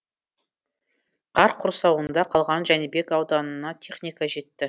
қар құрсауында қалған жәнібек ауданына техника жетті